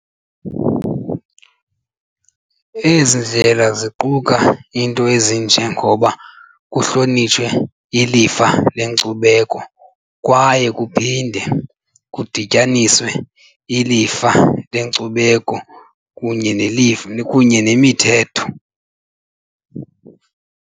Ezi ndlela ziquka iinto ezinje ngoba kuhlonitshe ilifa lenkcubeko kwaye kuphinde kudityaniswe ilifa lenkcubeko kunye nelifa kunye nemithetho.